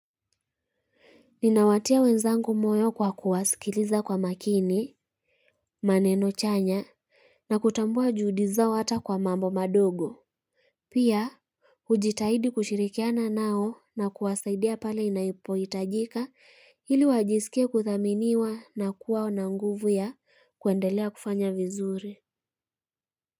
Ninawatia wenzangu moyo kwa kuwasikiliza kwa makini, maneno chanya, na kutambua juhudi zao hata kwa mambo madogo. Pia, hujitahidi kushirikiana nao na kuwasaidia pale inapohitajika ili wajisikie kuthaminiwa na kuwa na nguvu ya kuendelea kufanya vizuri.